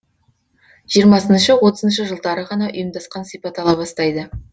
жиырмасыншы отызыншы жылдары ғана ұйымдасқан сипат ала бастайды